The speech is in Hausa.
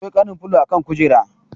Akwai kanan filo a kan kujera.